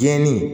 Gɛnni